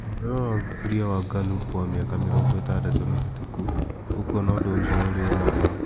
Ũngĩrora ũthuthuria wa Gallup wa mĩaka mĩrongo ĩtandatu mĩhĩtũku, ũkuona ũndũ ũcio ũrĩ wa ma.